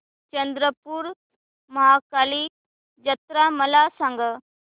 चंद्रपूर महाकाली जत्रा मला सांग